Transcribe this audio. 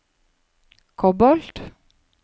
kobolt